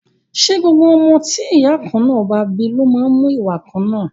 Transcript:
Ṣé gbogbo ọmọ tí ìyá kan náà bá bí ló má ń mú ìwà kan náà?